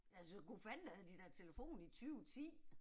Altså gu fanden havde de da telefon i 20 10